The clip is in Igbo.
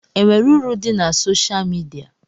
E nwere uru dị na soshal midia?